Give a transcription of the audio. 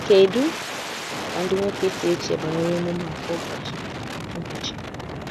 Kedu ka ndị nwoke si eche banyere emume a kwa ụbọchị? ụbọchị?